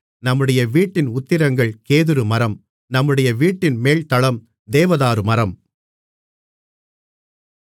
நம்முடைய வீட்டின் உத்திரங்கள் கேதுரு மரம் நம்முடைய வீட்டின் மேல்தளம் தேவதாரு மரம்